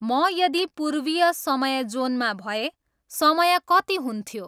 म यदि पूर्वीय समय जोनमा भए समय कति हुन्थ्यो